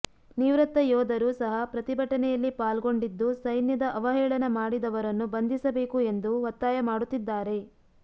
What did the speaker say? ನಿವೃತ್ತ ಯೋಧರು ಸಹ ಪ್ರತಿಭಟನೆಯಲ್ಲಿ ಪಾಲ್ಗೊಂಡಿದ್ದು ಸೈನ್ಯದ ಅವಹೇಳನ ಮಾಡಿದವರನ್ನು ಬಂಧಿಸಬೇಕು ಎಂದು ಒತ್ತಾಯ ಮಾಡುತ್ತಿದ್ದಾರೆ